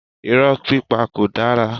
Irọ́ pípa kò dára.